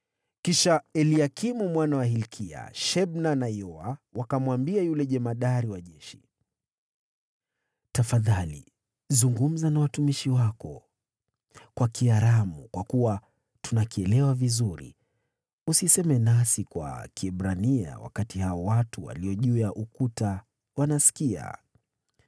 Ndipo Eliakimu mwana wa Hilkia, Shebna na Yoa wakamwambia yule jemadari wa jeshi, “Tafadhali zungumza na watumishi wako kwa lugha ya Kiaramu, kwa kuwa tunaifahamu. Usiseme nasi kwa Kiebrania watu walioko juu ya ukuta wakiwa wanasikia.”